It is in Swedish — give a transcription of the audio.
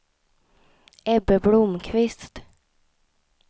Ebbe Blomqvist